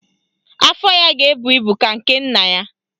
Afọ ya ga-ebu ibu ka nke nna ya